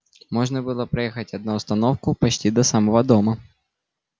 можно было проехать одну остановку почти до самого дома